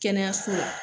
Kɛnɛyaso la